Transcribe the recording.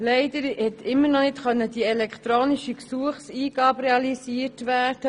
Leider konnte die elektronische Gesuchseingabe immer noch nicht realisiert werden.